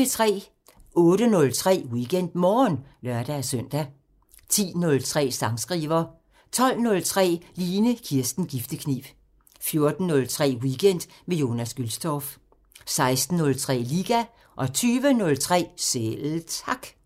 08:03: WeekendMorgen (lør-søn) 10:03: Sangskriver 12:03: Line Kirsten Giftekniv 14:03: Weekend med Jonas Gülstorff 16:03: Liga 20:03: Selv Tak